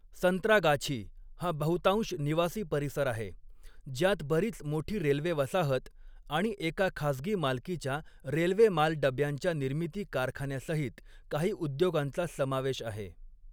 संत्रागाछी हा बहुतांश निवासी परिसर आहे, ज्यात बरीच मोठी रेल्वे वसाहत आणि एका खाजगी मालकीच्या रेल्वे माल डब्यांच्या निर्मिती कारखान्यासहित काही उद्योगांचा समावेश आहे.